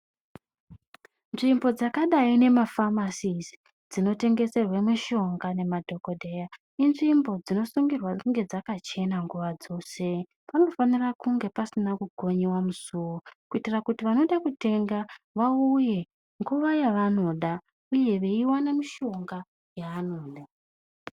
Nzvimbo dzakadai nemafamasisi, dzinotengeserwe mishonga nemadhokodheya, inzvimbo dzinosungirwe kunge dzakachena nguva dzose. Panofanira kunge pasina kukonyiwa musuwo, kuitira kuti vanoda kutenga vauye, nguva yavanoda uye veiwana mushonga yavanoda.